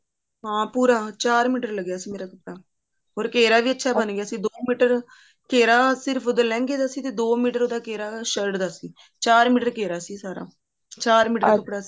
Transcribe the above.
ਹਾਂ ਪੂਰਾ ਚਾਰ ਮੀਟਰ ਲੱਗਿਆ ਸੀ ਮੇਰਾ ਤਾਂ or ਘੇਰਾ ਵੀ ਅੱਛਾ ਬਣ ਗਿਆ ਸੀ ਦੋ ਮੀਟਰ ਘੇਰਾ ਸਿਰਫ ਉਹਦਾ ਲਹਿੰਗੇ ਦਾ ਸੀ ਤੇ ਦੋ ਮੀਟਰ ਉਹਦਾ ਘੇਰਾ shirt ਦਾ ਸੀ ਚਾਰ ਮੀਟਰ ਘੇਰਾ ਸੀ ਸਾਰਾ ਚਾਰ ਮੀਟਰ ਸੀ